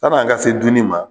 Yann'an ka se dunni ma